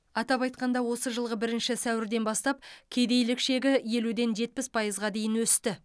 атап айтқанда осы жылғы бірінші сәуірден бастап кедейлік шегі елуден жетпіс пайызға дейін өсті